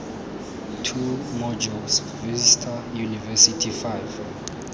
two modules vista university five